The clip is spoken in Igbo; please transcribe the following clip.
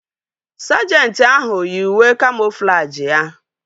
Sajenti ahu yii uwe kamoflajị ya